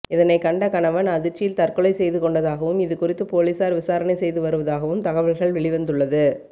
இதனை கண்ட கணவன் அதிர்ச்சியில் தற்கொலை செய்து கொண்டதாகவும் இதுகுறித்து போலீசார் விசாரணை செய்து வருவதாகவும் தகவல்கள் வெளிவந்துள்ளது